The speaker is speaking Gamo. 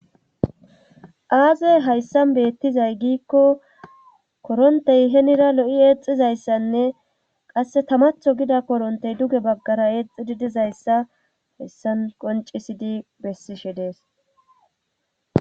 Aaze hayssan beettizay giikko koronttey hennira lo'i eexizayssanne qasse tamatho gida koronttey duuge baggara eexidii dizayssa hessan qoncisidii besishe dees